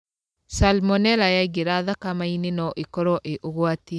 Salmonella yaingĩra thakame-inĩ no ĩkorwo ĩ ũgwati.